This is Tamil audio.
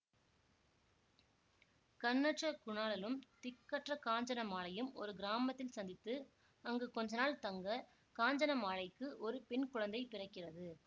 கண்ணற்ற குணாளனும் திக்கற்ற காஞ்சனமாலையும் ஒரு கிராமத்தில் சந்தித்து அங்கு கொஞ்ச நாள் தங்க காஞ்சனமாலைக்கு ஒரு பெண் குழந்தை பிறக்கிறது